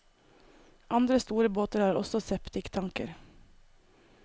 Andre store båter har også septiktanker.